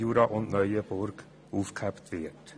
Jura und Neuenburg aufgehoben wird.